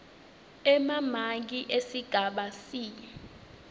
emamaki esigaba c